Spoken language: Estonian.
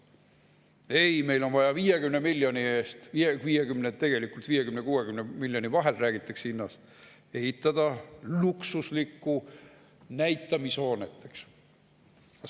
Ei, meil on vaja 50 miljoni eest – tegelikult räägitakse hinnast 50 ja 60 miljoni vahel – ehitada luksuslikku näitamishoonet.